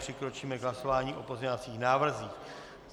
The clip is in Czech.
Přikročíme k hlasování o pozměňovacích návrzích.